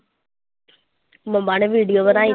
ਮੰਮਾ ਨੇ video ਬਣਾਈ